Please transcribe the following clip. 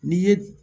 N'i ye